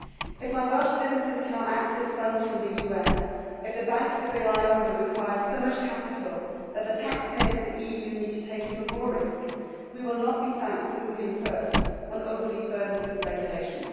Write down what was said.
If my Welsh businesses cannot access funds from the US, if the banks they rely on will require so much capital that the taxpayers of the EU need to take even more risk, we will not be thanked for moving first on overly burdensome regulation.